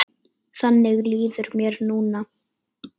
Þannig líður mér núna.